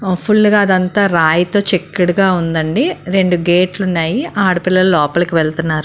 Full గా అదంతా రాయితో చక్కడిగా ఉందండి రెండు గేట్ లు ఉన్నాయి ఆడపిల్లలు లోపలికి వెళ్తున్నారు.